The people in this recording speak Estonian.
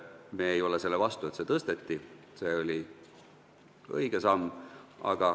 Me ei ole selle vastu, et seda tõsteti, see oli õige samm.